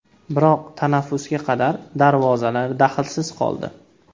Biroq tanaffusga qadar darvozalar dahlsiz qoldi.